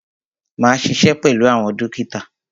Máa ṣiṣẹ́ pẹ̀lú àwọn dókítà.